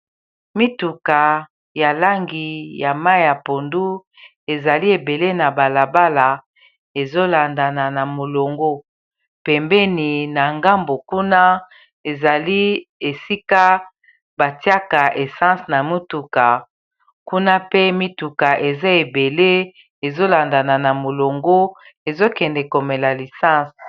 mituka ya langi ya mai ya pondu ezali ebele na balabala ezolandana na molongo pembeni na ngambo kuna ezali esika batiaka essence na motuka kuna pe mituka eza ebele ezolandana na molongo ezokende komela lisence